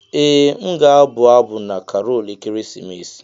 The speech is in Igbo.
Ee m ga-abụ abụ na Karol ekeresimesi.